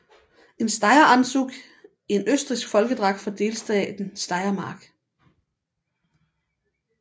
Et Steireranzug en østrigsk folkedragt fra delstaten Steiermark